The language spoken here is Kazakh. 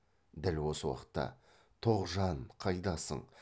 дәл осы уақытта тоғжа а н қайдасың